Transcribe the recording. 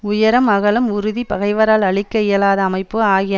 உயரம் அகலம் உறுதி பகைவரால் அழிக்க இயலாத அமைப்பு ஆகிய